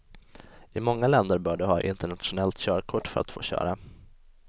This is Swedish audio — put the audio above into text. I många länder bör du ha internationellt körkort för att få köra.